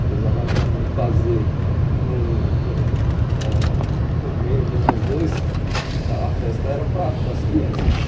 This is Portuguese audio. Apesar da minha mãe fazer no ãh no meio de nós dois, a festa era para para as crianças.